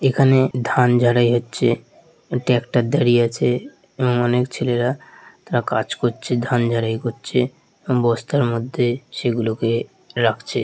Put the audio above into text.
এখানে ধান ঝাড়াই হচ্ছে এ ট্রাক্টর দাঁড়িয়ে আছে এবং অনেক ছেলেরা তারা কাজ করছে ধান ঝাড়াই করছে বস্তার মধ্যে সেগুলাকে রাখছে ।